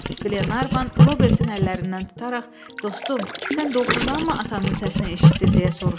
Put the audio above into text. Qlenarvan Robertin əllərindən tutaraq: Dostum, sən doğurdanmı atanın səsini eşitdin, - deyə soruşdu.